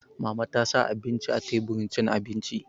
Mama ta sa abinci a teburin cin abinci